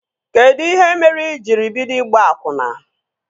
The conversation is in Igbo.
Kedụ ihe mere i jiri bido ịgba akwụna?